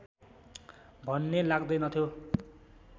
भन्ने लाग्दैनथ्यो